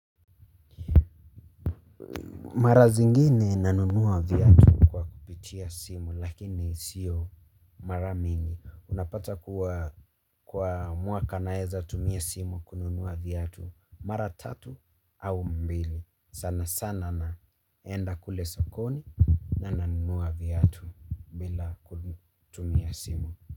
Mara zingine ninanunua viatu kwa kupitia simu lakini sio mara mingi. Unapata kuwa kwa mwaka naweza tumia simu kununua viatu mara tatu au mbili. Sana sana naenda kule sokoni na ninanunua viatu bila kutumia simu.